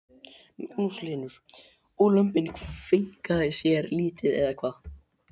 Magnús Hlynur: Og lömbin kveinka sér lítið eða hvað?